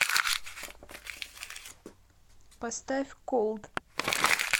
поставь колд